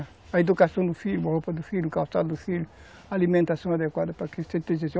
A educação do filho, a roupa do filho, o calçado do filho, a alimentação adequada